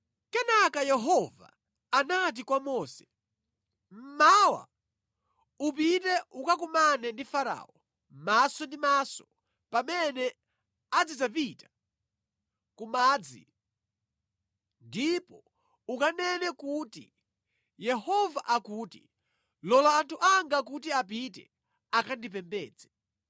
Kenaka Yehova anati kwa Mose, “Mmawa, upite ukakumane ndi Farao maso ndi maso pamene azidzapita ku madzi ndipo ukanene kuti, ‘Yehova akuti, Lola anthu anga kuti apite akandipembedze.